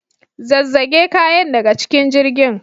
Zazzage kayan daga cikin jirgin.